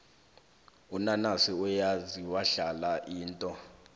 unanasi uyazi wahla indo